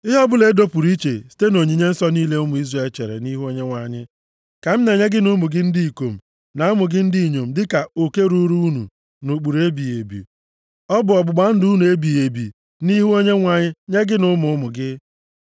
Ihe ọbụla e dopụrụ iche site nʼonyinye nsọ niile ụmụ Izrel chere nʼihu Onyenwe anyị ka m na-enye gị na ụmụ gị ndị ikom, na ụmụ gị ndị inyom dịka oke ruuru unu nʼụkpụrụ ebighị ebi. Ọ bụ ọgbụgba ndụ nnu ebighị ebi nʼihu Onyenwe anyị nye gị na ụmụ ụmụ gị.”